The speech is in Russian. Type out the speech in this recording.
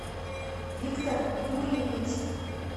виктор юрьевич